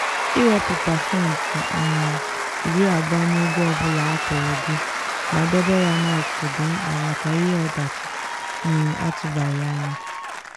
iwepụ pasentị um iri abụọ n'ego ọ bụla akwụrụ gị ma debe ya n'akụkụ dị mkpa maka ihe ọdachi um atụbaghị anya.